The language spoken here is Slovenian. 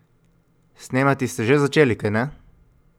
Snemati ste že začeli, kajne?